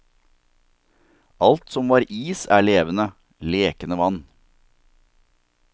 Alt som var is er levende, lekende vann.